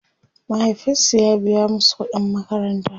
mahaifinsu ya biya masu ƙuɗin makaranta